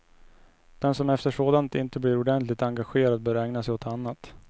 Den som efter sådant inte blir ordentligt engagerad bör ägna sig åt annat.